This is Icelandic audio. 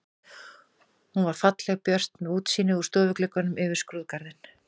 Hún var falleg og björt með útsýni úr stofugluggunum yfir skrúðgarðinn.